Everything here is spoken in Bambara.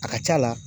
A ka c'a la